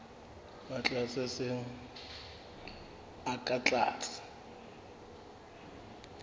matsatsi a seng ka tlase